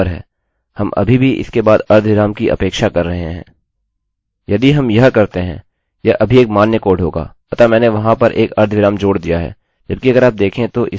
यदि हम यह करते हैं यह अभी एक मान्य कोड होगा अतः मैंने वहाँ पर एक अर्धविराम जोड़ दिया है जबकि अगर आप देखें तो इसे यहाँ पर होना चाहिए